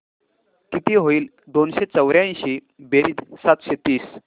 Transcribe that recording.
किती होईल दोनशे चौर्याऐंशी बेरीज सातशे तीस